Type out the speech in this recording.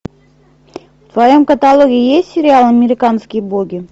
в твоем каталоге есть сериал американские боги